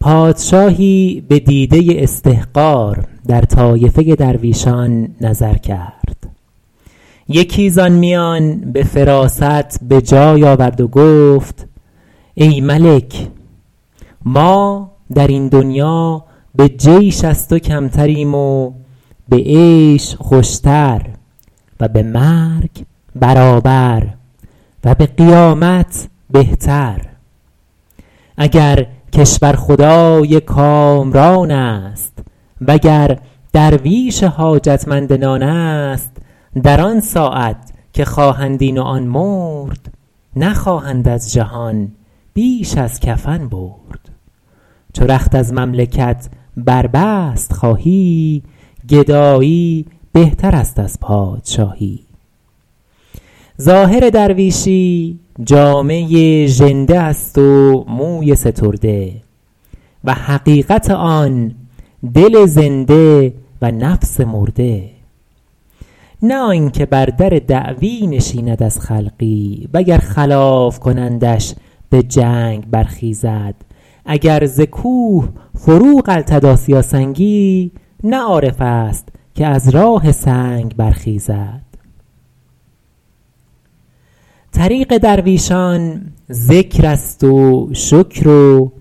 پادشاهی به دیده استحقار در طایفه درویشان نظر کرد یکی زآن میان به فراست به جای آورد و گفت ای ملک ما در این دنیا به جیش از تو کمتریم و به عیش خوشتر و به مرگ برابر و به قیامت بهتر اگر کشورخدای کامران است وگر درویش حاجت مند نان است در آن ساعت که خواهند این و آن مرد نخواهند از جهان بیش از کفن برد چو رخت از مملکت بربست خواهی گدایی بهتر است از پادشاهی ظاهر درویشی جامه ژنده است و موی سترده و حقیقت آن دل زنده و نفس مرده نه آنکه بر در دعوی نشیند از خلقی وگر خلاف کنندش به جنگ برخیزد اگر ز کوه فرو غلتد آسیا سنگی نه عارف است که از راه سنگ برخیزد طریق درویشان ذکر است و شکر و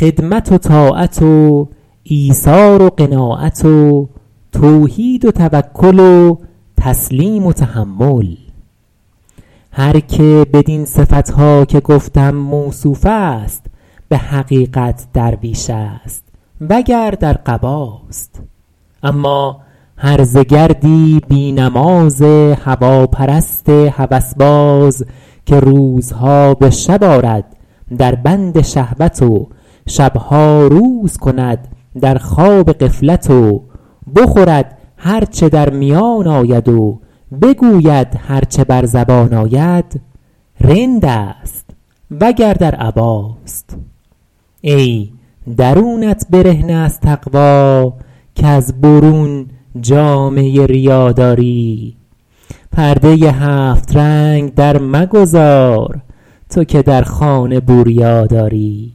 خدمت و طاعت و ایثار و قناعت و توحید و توکل و تسلیم و تحمل هر که بدین صفت ها که گفتم موصوف است به حقیقت درویش است وگر در قباست اما هرزه گردی بی نماز هواپرست هوس باز که روزها به شب آرد در بند شهوت و شب ها روز کند در خواب غفلت و بخورد هر چه در میان آید و بگوید هر چه بر زبان آید رند است وگر در عباست ای درونت برهنه از تقوی کز برون جامه ریا داری پرده هفت رنگ در مگذار تو که در خانه بوریا داری